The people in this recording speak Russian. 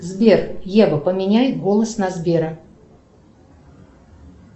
сбер ева поменяй голос на сбера